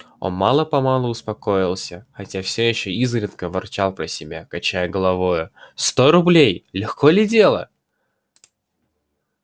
он мало-помалу успокоился хотя всё ещё изредка ворчал про себя качая головою сто рублей легко ли дело